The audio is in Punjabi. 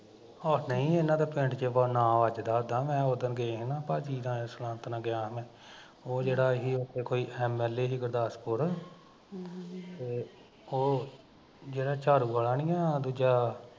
ਓਹ ਨਹੀਂ ਏਹਨਾ ਦਾ ਪਿੰਡ ਚ ਨਾਮ ਵੱਜਦਾ ਉਦਾ ਤਾਂ ਮੈਂ ਗਿਆ ਸੀ ਨਾ ਉਦਣ ਭਾਜੀ ਨਾਲ਼ ਸੁਨਅੰਤ ਨਾਲ਼ ਗਿਆ ਸਾ ਮੈਂ ਉਹ ਜਿਹੜਾ ਉੱਥੇ ਸੀ ਕੋਈ MLA ਸੀ ਗੁਰਦਾਸਪੁਰ ਤੇ ਉਹ, ਜਿਹੜਾ ਝਾੜੂ ਵਾਲਾ ਨੀ ਐ ਦੂਜਾ